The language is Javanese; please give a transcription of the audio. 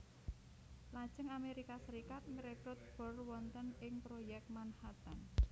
Lajeng Amerika Serikat ngrekut Bohr wonten ing Proyek Manhattan